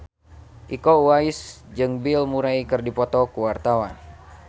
Iko Uwais jeung Bill Murray keur dipoto ku wartawan